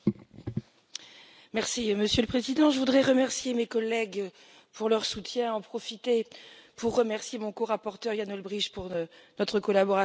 Monsieur le Président, je voudrais remercier mes collègues pour leur soutien et en profiter pour remercier mon corapporteur Jan Olbricht pour notre collaboration fructueuse et bienveillante.